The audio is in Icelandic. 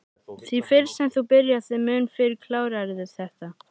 Því fyrr sem þú byrjar þeim mun fyrr klárarðu þetta